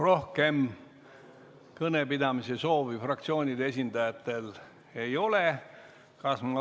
Rohkem kõnepidamise soovi fraktsioonide esindajatel ei ole.